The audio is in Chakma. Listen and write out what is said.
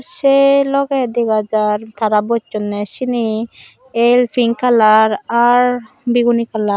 se loge dega jar tara bossone sini el pinkalar ar biguni kalar.